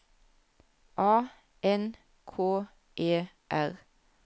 A N K E R